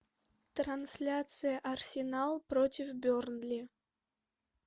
трансляция арсенал против бернли